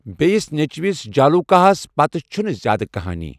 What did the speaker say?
بییِس نیچِوِس ،جالوكاہس ، پتہٕ چھنہٕ زیادٕ كٕہٲنی ۔